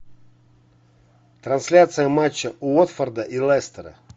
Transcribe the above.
трансляция матча уотфорда и лестера